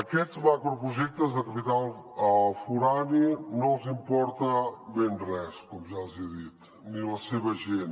aquests macroprojectes de capital forà no els importa ben res com ja els hi he dit ni la seva gent